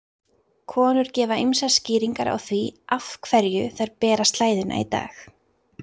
Konur gefa ýmsar skýringar á því af hverju þær bera slæðuna í dag.